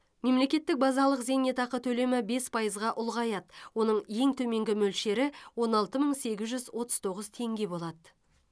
мемлекеттік базалық зейнетақы төлемі бес пайызға ұлғаяды оның ең төменгі мөлшері он алты мың сегіз жүз отыз тоғыз теңге болады